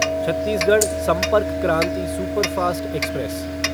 Chhattisgarh Sampark Kranti superfast express